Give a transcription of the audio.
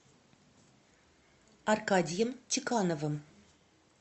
аркадием чекановым